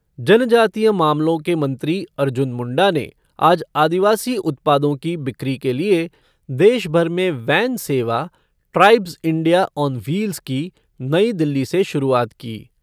जनजातीय मामलों के मंत्री अर्जुन मुंडा ने आज आदिवासी उत्पादों की बिक्री के लिए देशभर में वैन सेवा ट्राइब्स इंडिया ऑन वील्स ' की नई दिल्ली से शुरुआत की।